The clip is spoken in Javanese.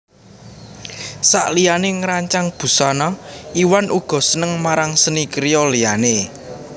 Sakliyané ngrancang busana Iwan uga seneng marang seni kriya liyané